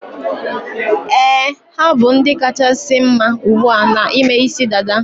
Éè, ha bụ ndị kachasị mma ugbua na ime isi dada